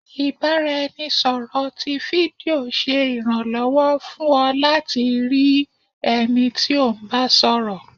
ibaraẹnisọrọ tí fídío ṣe iranlọwọ fún ọ latí rii ẹni tí o ń bá sọrọ.